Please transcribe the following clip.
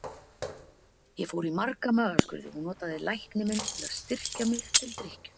Ég fór í marga magaskurði og notaði lækni minn til að styrkja mig til drykkju.